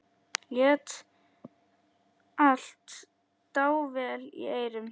Lét allt dável í eyrum.